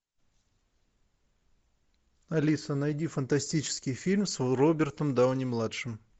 алиса найди фантастический фильм с робертом дауни младшим